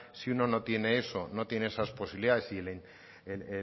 si uno no tiene eso no tiene esas posibilidades y